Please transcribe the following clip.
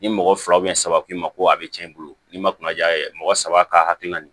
Ni mɔgɔ fila saba k'i ma ko a be cɛn i bolo ni ma kuna ja mɔgɔ saba ka hakilina ye